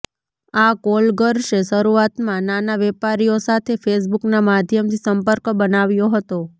આ કોલગર્લ્સે શરૂઆતમાં નાના વેપારીઓ સાથે ફેસબુકનાં માધ્યમથી સંપર્ક બનાવ્યો હતો